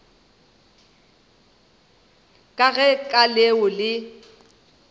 ka ge ka leo le